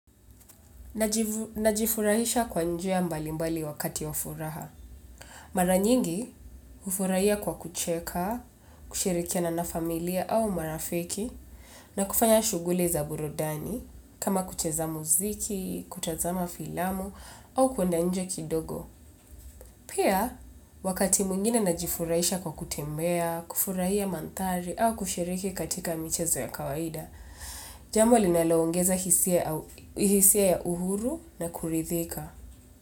Najifurahisha kwa njia mbali mbali wakati wa furaha. Mara nyingi hufurahia kwa kucheka, kushirikiana na familia au marafiki na kufanya shughuli za burudani kama kucheza muziki, kutazama filamu au kwenda nje kidogo. Pia, wakati mwingine najifurahisha kwa kutembea, kufurahia mandhari, au kushiriki katika michezo ya kawaida, jambo linaloongeza hisia ya uhuru na kuridhika.